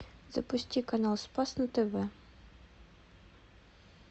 запусти канал спас на тв